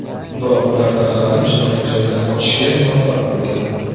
Biroq ular tarqalib, jinoyat joyidan qochishga muvaffaq bo‘lgan.